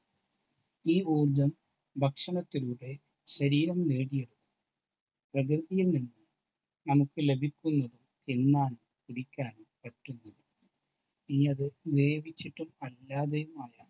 ഈ ഊർജ്ജം ഭക്ഷണത്തിലൂടെ ശരീരം നേടിയെടുക്കുന്നത് പ്രകൃതിയിൽ നിന്ന് നമുക്ക് ലഭിക്കുന്നു. എന്നാൽ കുടിക്കാൻ പറ്റുന്നില്ല. ഇനി അത് വേവിച്ചിട്ടും അല്ലാതെയും ആയാൽ